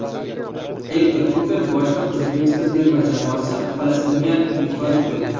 Ektor Kuper boshliq O‘zbekiston terma jamoasi Falastinga yutqazib qo‘ydi .